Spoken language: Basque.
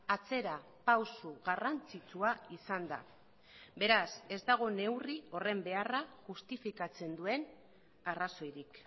atzera pausu garrantzitsua izan da beraz ez dago neurri horren beharra justifikatzen duen arrazoirik